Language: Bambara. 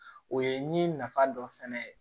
O ye ni nafa dɔ fɛnɛ ye